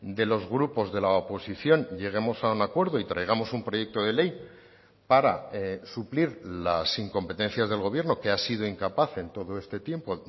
de los grupos de la oposición lleguemos a un acuerdo y traigamos un proyecto de ley para suplir las incompetencias del gobierno que ha sido incapaz en todo este tiempo